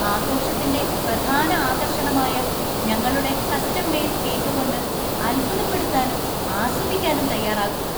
ആഘോഷത്തിന്‍റെ പ്രധാന ആകർഷണമായ ഞങ്ങളുടെ കസ്റ്റം മെയ്ഡ് കേക്ക് കൊണ്ട് അത്ഭുതപ്പെടുത്താനും ആസ്വദിക്കാനും തയ്യാറാകുക.